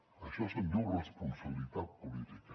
d’això se’n diu responsabilitat política